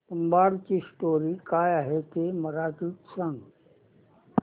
तुंबाडची स्टोरी काय आहे ते मराठीत सांग